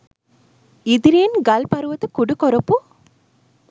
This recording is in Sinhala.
ඉදිරියෙන් ගල් පරුවත කුඩු කොරපු